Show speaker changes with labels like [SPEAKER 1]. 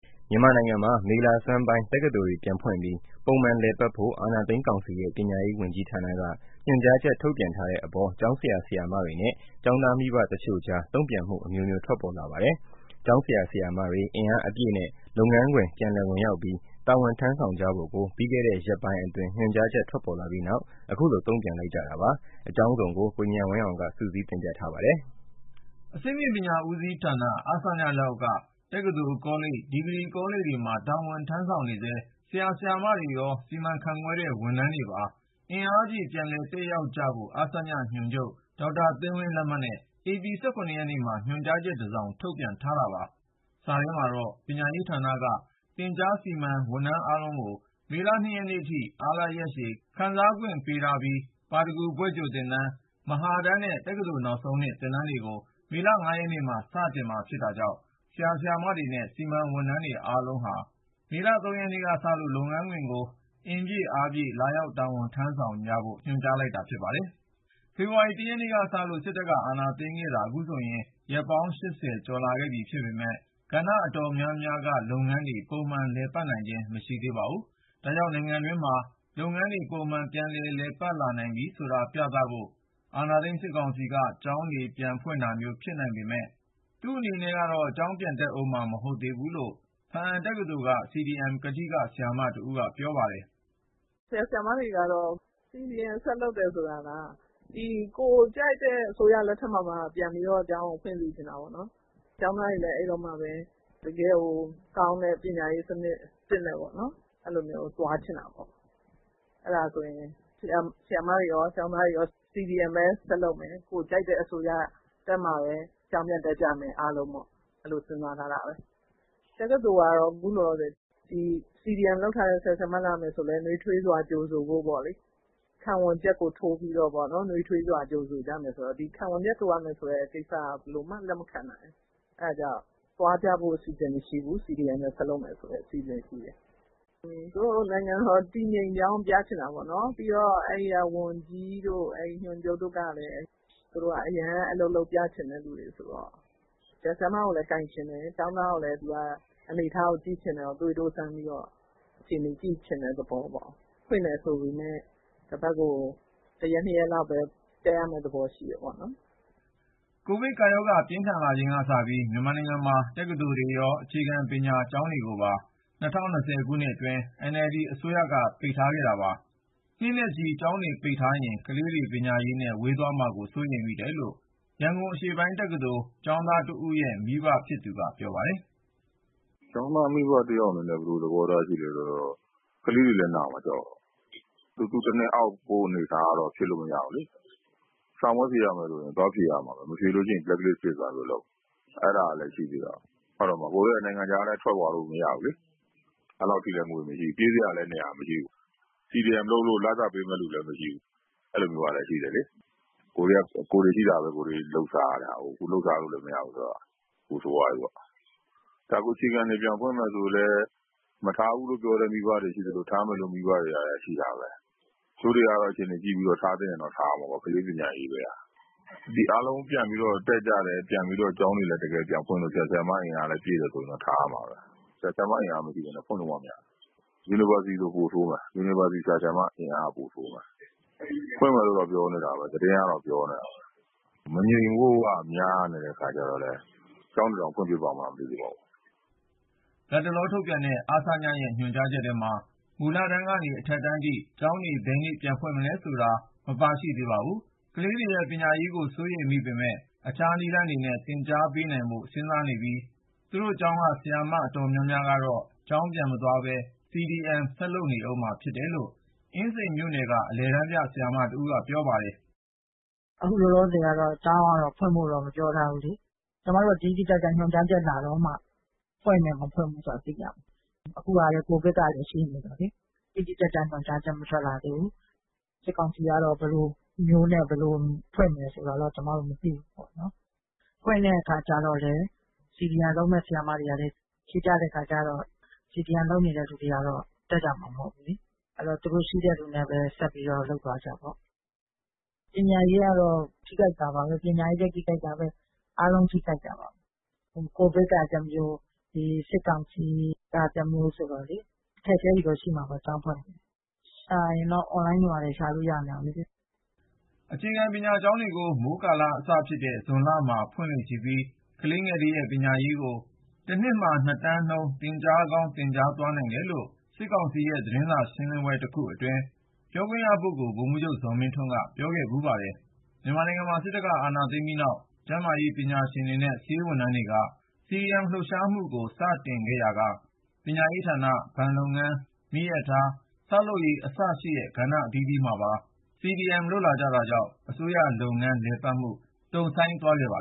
[SPEAKER 1] မြန်မာနိုင်ငံမှာ မေလဆန်းပိုင်း တက္ကသိုလ်တွေ ပြန်ဖွင့်ပြီး ပုံမှန်လည်ပတ်ဖို့ အာဏာသိမ်းကောင်စီရဲ့ ပညာရေး ဝန်ကြီးဌာနက ညွှန်ကြားချက် ထုတ်ပြန်ထားတဲ့အပေါ်ကျောင်းဆရာဆရာမတွေနဲ့ ကျောင်းသားမိဘ တချို့ကြား တုန့်ပြန်မှု အမျိုးမျိုး ထွက်ပေါ်လာပါတယ်။ ကျောင်းဆရာ၊ဆရာမတွေ အင်အားအပြည့်နဲ့ လုပ်ငန်းခွင် ပြည်လည်ဝင်ရောက်ပြီး တာဝန်ထမ်းဆောင်ကြဖို့ ပြီးခဲ့တဲ့ ရက်ပိုင်းအတွင်း ညွှန်ကြားချက် ထွက်ပေါ်လာပြီးနောက် အခုလို တုန့်ပြန်လိုက်ကြတာပါ။ အကြောင်းစုံကို ကိုဉာဏ်ဝင်းအောင်က စုစည်းတင်ပြ ထားပါတယ်
[SPEAKER 2] ။ အဆင့်မြင့်ပညာဦးစီးဌာန (အဆည)လက်အောက်က တက္ကသိုလ်၊ ကောလိပ်၊ ဒီဂရီကောလိပ်မှာ တာဝန် ထမ်းဆောင်နေဆဲ ဆရာဆရာမတွေရော၊ စီမံခန့်ခွဲတဲ့ ဝန်ထမ်းတွေပါ အင်အားပြည့် ပြန်လည်တက်ရောက်ကြဖို့အဆည ညွှန်ချုပ် ဒေါက်တာသိန်းဝင်း လက်မှတ်နဲ့ ဧပြီ(၁၇)ရက်နေ့မှာ ညွှန်ကြားချက်တစောင် ထုတ်ပြန်ထား တာပါ။ စာထဲမှာတော့ ပညာရေးဌာနက သင်ကြား/စီမံ ဝန်ထမ်းအားလုံးကို မေလ(၂)ရက်နေ့ထိ (Vacation) အားလပ်ရက်ရှည် ခံစားခွင့် ပေးထားပြီး ၊ ပါရဂူဘွဲ့ကြိုသင်တန်း ၊ မဟာတန်းများနဲ့ တက္ကသိုလ် နောက်ဆုံးနှစ် သင်တန်းတွေကို မေလ(၅)ရက်နေ့မှာ စတင်မှာဖြစ်တာကြောင့် ဆရာဆရာမတွေနဲ့ စီမံဝန်ထမ်းအားလုံးဟာ မေလ (၃)ရက်နေ့ကစလို့ လုပ်ငန်းခွင်ကို အင်အားပြည့် လာရောက် တာဝန်ထမ်းဆောင်ကြဖို့ ညွှန်ကြားလိုက်တာ ဖြစ်ပါတယ်။ ဖေဖေါ်ဝါရီ (၁)ရက်နေ့ကစလို့ စစ်တပ်က အာဏာသိမ်းခဲ့တာ ခုဆိုရင် ရက်ပေါင်း(၈၀) ကျော်လာခဲ့ပြီ ဖြစ်ပေမယ့် ကဏ္ဍအတော်များများက လုပ်ငန်းတွေ ပုံမှန် လည်ပတ်နိုင်ခြင်း မရှိသေးပါဘူး။ ဒါကြောင့် နိုင်ငံတွင်းမှာ လုပ်ငန်းတွေ ပုံမှန် ပြန်လည်ပတ် လာနိုင်ပြီဆိုတာ ပြသဖို့ ၊ အာဏာသိမ်းစစ်ကောင်စီက ကျောင်းတွေ ပြန်ဖွင့်တာမျိုး ဖြစ်နိုင်ပေမယ့် သူ့အနေနဲ့ကတော့ ကျောင်းပြန်တက်ဦးမှာ မဟုတ်သေးဘူးလို့ ဘားအံတက္ကသိုလ်က CDM ကထိက ဆရာမတဦးက ပြောပါတယ်
[SPEAKER 1] ။ “ ဆရာဆရာမတွေကတော့ CDM ဆက်လုပ်တယ်ဆိုတာက ကိုယ်ကြိုက်တဲ့အစိုးရလက်ထက်မှာမှ ပြန်ပြီးတော့ ကျောင်းကို ဖွင့်စေချင်တာပေါ့နော်။ ကျောင်းသားတွေလည်း အဲဒီတော့မှပဲ တကယ်ကိုကောင်းတဲ့ပညာရေး စနစ်သစ်နဲ့ပေါ့နော် အဲလိုမျိုး သွားချင်တာပေါ့နော်။ အဲဒါဆိုရင် ဆရာမတွေရော ကျောင်းသားတွေရော CDM ပဲ ဆက်လုပ်မယ် ကိုယ်ကြိုက်တဲ့အစိုးရတက်မှပဲ ကျောင်းပြန်တက်ကြမယ် အားလုံးပေါ့ အဲလိုစဉ်းစားထားပါတယ်။ တက္ကသိုလ်တွေကတော့ အခုလောလောဆည် CDM လုပ်ထားတဲ့ ဆရာ၊ဆရာမတွေ ပြန်လာမယ်ဆိုရင်လည်း ခံဝန်ချက်ကို ထိုးပြီးတော့ပေါ့နော် နွေးထွေးစွာကြိုဆိုကြမယ်ပေ့ါ။ ဒီ ခံဝန်ချက်ထိုးရမယ်ဆိုတဲ့ ကိစ္စက ဘယ်လိုမှ လက်မခံနိုင်ဘူး။ အဲဒါကြောင့် သွားကြဖို့ အစီအစဉ်မရှိဘူး။ CDM ပဲ ဆက်လုပ်မယ်ဆိုတဲ့ အစီအစဉ်ပဲရှိတယ်။ သူတို့က နိုင်ငံတော် တည်ငြိမ်ကြောင်းပြချင်တာပေါ့နော် ၊ ပြီးတော့ အဲဒီက ဝန်ကြီးတို့ ညွှန်ချုပ်တို့ကလည်း သူတို့က အရမ်းအလုပ်လုပ်ပြချင်တဲ့ လူတွေဆိုတော့ ဆရာဆရာမကိုလည်း ကိုင်ချင်တယ် ၊ ကျောင်းသားကိုလည်း သွေးထိုးစမ်းပြီးတော့ အခြေအနေ ကြည့်ချင်တဲ့ သဘောပေါ့။ ပြန်ဖွင့်တယ်ဆိုပေမယ့် တပတ်ကို ၁ ရက် ၂ ရက်လောက်ပဲ တက်ရမယ့် သဘောရှိတယ်ပေါ့နော်
[SPEAKER 2] ။” ကိုဗစ်ကပ်ရောဂါ ပြင်းထန်လာချိန်ကစပြီး မြန်မာနိုင်ငံမှာ တက္ကသိုလ်တွေရော အခြေခံပညာ ကျောင်းတွေကိုပါ ၂၀၂၀ ခုနှစ်အတွင်း NLD အစိုးရက ပိတ်ထားခဲ့တာပါ။ နှစ်နဲ့ချီ ကျောင်းတွေပိတ်ထားရင် ကလေးတွေ ပညာရေးနဲ့ ဝေးသွားမှာကို စိုးရိမ်မိတယ်လို့ ရန်ကုန်အရှေ့ပိုင်းတက္ကသိုလ် ကျောင်းသားတဦးရဲ့ မိဘဖြစ်သူက ပြောပါတယ်။ “ကျောင်းသားမ
[SPEAKER 3] ိဘတယောက်အနေနဲ့ ဘယ်လို သဘောထားရှိသလဲဆိုတော့ ကလေးတွေလည်း နာမှာ ကြောက်တယ်။ စာသင်နှစ် တနှစ် နားလိုက်ရတာမျိုး မဖြစ်စေချင်ဘူးလေ။ စာမေးပွဲဖြေရမယ်ဆိုရင်လည်း သွားဖြေရမှာပဲ ၊ မဖြေလို့ရှိရင် black list ဖြစ်သွားရင် ဘယ်လိုလုပ်မလဲ။ အဲဒါလည်း ရှိသေးတာကို။ ကိုယ်က နိုင်ငံခြားလည်း ထွက်သွားလို့ မရဘူးလေ၊ အဲလောက်အထိလည်း ငွေမရှိဘူး ၊ ပြေးစရာလည်း နေရာမရှိဘူး။ CDM လုပ်လို့ လစာပေးမယ့်လူလည်း မရှိဘူ၊း အဲလိုမျိုးကလည်း ရှိသေးတယ်လေ။ ကိုယ်တွေက ရှိတာကိုပဲ လုပ်စားနေရတာကိုး။ အခုက လုပ်စားလို့လည်း အဆင်မပြေဘူးဆိုတော့ ပိုဆိုးသွားပြီပေါ့။ အခုအခြေခံကျောင်းတွေ ပြန်ဖွင့်မယ်ဆိုရင်လည်း မထားဘူးလို့ ပြောတဲ့ မိဘတွေ ရှိသလို၊ ထားမယ်လို့ ပြောတဲ့ မိဘတွေလည်း ရှိတာပဲ။ တချို့တွေကတော့ အခြေအနေကြည့်ပြီးတော့ ထားသင့်ရင်တော့ ထားရမှာပေါ့ ကလေးပညာရေးပဲဟာ။ တကယ်လို့ ကျောင်းတွေလည်း ပြန်ဖွင့်လို့ ဆရာ၊ဆရာမ အင်အားလည်း ပြည့်တယ်ဆိုရင်တော့ ထားရမှာပဲ။ ဆရာ၊ဆရာမ အင်အားမရှိပဲနဲ့ ဖွင့်လို့မှ မရတာ။ University ဆိုရင် ပိုဆိုးမယ် University ဆရာ၊ဆရာမ အင်အား ပိုဆိုးမယ်။ ဖွင့်မယ်လို့တော့ ပြောနေတာပဲ သတင်းကတော့ ပြောနေတယ်။ မငြိမ်ဖို့က များနေတော့လည်း ကျောင်းတွေတောင် ပြန်ဖွင့်ဖြစ်ပါ့မလားမသိဘူး။
[SPEAKER 2] ” လတ်တလော ထုတ်ပြန်တဲ့ အဆည-ရဲ့ ညွှန်ကြားချက်ထဲမှာ မူလတန်းကနေ အထက်တန်းထိ ကျောင်းတွေ ဘယ်နေ့ပြန်ဖွင့်မလဲ ဆိုတဲ့အချက် မပါသေးပါဘူး။ ကလေးတွေရဲ့ ပညာရေးကို စိုးရိမ်မိပေမယ့် အခြား နည်းလမ်းတွေနဲ့ သင်ကြားပေးနိုင်ဖို့ စဉ်စားနေပြီး သူတို့ကျောင်းက ဆရာမအတော်များများကတော့ ကျောင်းပြန်မသွားပဲ CDM ဆက်လုပ်နေဦးမှာ ဖြစ်တယ်လို့ အင်းစိန်မြို့နယ်က အလယ်တန်းပြ ဆရာမတဦးက ပြောပါတယ်။
[SPEAKER 4] “အခုလောလောဆည်ကတော့ ကျောင်းကတော့ ဖွင့်ဖို့တော့ မပြောထားဘူးလေ။ ကျမတို့က တိတိကျကျ ညွှန်ကြားချက်လာတော့မှ ဖွင့်မယ် မဖွင့်ဘူးဆိုတာ သိရမှာ ။ အခုကလည်း COVID ကလည်း ရှိနေတော့လေ တိတိကျကျ ညွှန်ကြားချက် မထွက်လာသေးဘူး။ စစ်ကောင်စီကတော့ ဘယ်လိုမျိုးနဲ့ ဘယ်လိုဖွင့်မယ်ဆိုတာတော့ ကျမတို့ မသိဘူးပေါ့နော် ။ ဖွင့်မယ့်အခါကျတော့လ်ညး CDM လုပ်မယ့် ဆရာမတွေကလည်း ရှိကြတဲ့အခါကျတော့ CDM လုပ်နေတဲ့ လူတွေကတော့ ကျောင်းတက်ကြမှာ မဟုတ်ဘူးလေ။ အဲဒီတော့ သူတို့ ရှိတဲ့လူနဲ့ပဲ ဆက်ပြီးတော့ လုပ်သွားကြပေ့ါ။ ပညာရေးကတော့ ထိခိုက်လာမှာပဲ။ ပညာရေးလည်း ထိခိုက်တာပဲ အားလုံးထိခိုက်တာပဲ။ COVID က တမျိုး စစ်ကောင်စီက တမျိုးဆိုတော့လေ အခက်အခဲတွေကတော့ ရှိမှာပေါ့ ကျောင်းဖွင့်ရင်။ ပညာ ရှာချင်ရင်တော့ Online တွေ ဘာတွေကနေတော့ ရှာလို့ ရနေတာပဲလေ။
[SPEAKER 2] ” အခြေခံပညာကျောင်းတွေကို မိုးကာလအစဖြစ်တဲ့ ဇွန်လမှာ ဖွင့်လေ့ရှိပြီး ၊ ကလေးငယ်တွေရဲ့ပညာရေးကို တနှစ်မှာ ၂ တန်းနှုန်း သင်ကြားကောင်း သင်ကြားသွားနိုင်တယ်လို့ စစ်ကောင်စီရဲ့ သတင်းစာရှင်းလင်းပွဲ တခုအတွင်း ပြောခွင့်ရပုဂ္ဂိုလ် ဗိုလ်မှူးချုပ် ဇော်မင်းထွန်းက ပြောခဲ့ဖူးပါတယ်။ မြန်မာနိုင်ငံမှာ စစ်တပ်က အာဏာသိမ်းပြီးနောက် ကျန်းမာရေးပညာရှင်တွေနဲ့ ဆေးဝန်းထမ်းတွေ CDM လှုပ်ရှားမှုကို စတင်ခဲ့ရာကပညာရေးဌာန ၊ ဘဏ်လုပ်ငန်း၊ မီရထား၊ ဆောက်လုပ်ရေး အစရှိတဲ့ ကဏ္ဍအသီးသီးမှာပါ CDM လုပ်လာကြတာကြောင့် အစိုးရလုပ်ငန်း လည်ပတ်မှု တုံ့ဆိုင်းသွားခဲ့ပါ